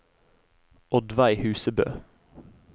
Oddveig Husebø